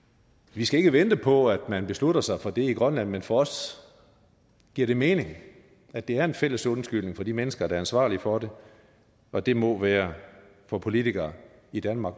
vi skal ikke vente på at man beslutter sig for det i grønland men for os giver det mening at det er en fælles undskyldning fra de mennesker der er ansvarlige for det og det må være fra politikere i danmark